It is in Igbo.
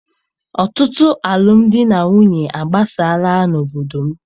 Ọtụtụ alụmdi na nwunye agbasaala n'obodo m.